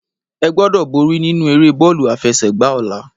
Egbòdò bòri ninú éré bólú àfèsègbá òlá